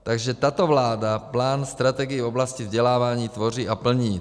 Takže tato vláda plán strategie v oblasti vzdělávání tvoří a plní.